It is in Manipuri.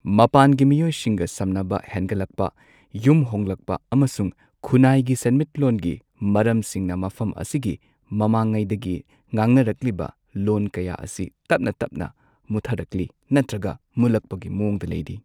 ꯃꯄꯥꯟꯒꯤ ꯃꯤꯑꯣꯏꯁꯤꯡꯒ ꯁꯝꯅꯕ ꯍꯦꯟꯒꯠꯂꯛꯄ, ꯌꯨꯝ ꯍꯣꯡꯂꯛꯄ ꯑꯃꯁꯨꯡ ꯈꯨꯟꯅꯥꯏꯒꯤ ꯁꯦꯟꯃꯤꯠꯂꯣꯟꯒꯤ ꯃꯔꯝꯁꯤꯡꯅ ꯃꯐꯝ ꯑꯁꯤꯒꯤ ꯃꯃꯥꯡꯉꯩꯗꯒꯤ ꯉꯥꯡꯅꯔꯛꯂꯤꯕ ꯂꯣꯟ ꯀꯌꯥ ꯑꯁꯤ ꯇꯞꯅ ꯇꯞꯅ ꯃꯨꯠꯊꯔꯛꯂꯤ ꯅꯠꯇ꯭ꯔꯒ ꯃꯨꯠꯂꯛꯄꯒꯤ ꯃꯋꯣꯡꯗ ꯂꯩꯔꯤ꯫